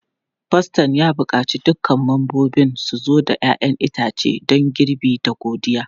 Faston ya buƙaci dukkan membobin su zo da 'ya'yan itace don girbi da godiya.